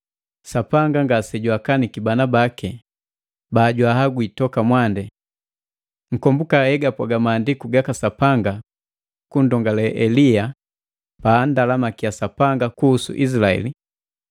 Sapanga ngase jwaakaniki bandu baki bajwaagwi toka mwandi. Nkomboka hegapwaga Maandiku gaka Sapanga kunndongale Elia paanndalamakia Sapanga kuhusu Izilaeli,